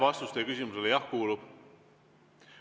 Vastus teie küsimusele: jah, kuulub.